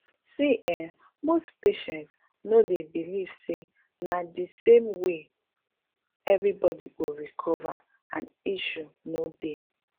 see[um]most patient no dey believe say na di same way everybody go recover and issue no dey